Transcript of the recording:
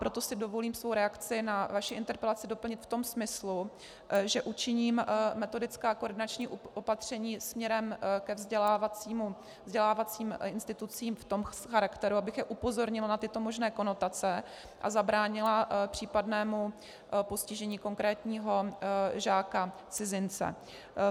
Proto si dovolím svou reakci na vaši interpelaci doplnit v tom smyslu, že učiním metodická a koordinační opatření směrem ke vzdělávacím institucím v tom charakteru, abych je upozornila na tyto možné konotace a zabránila případnému postižení konkrétního žáka-cizince.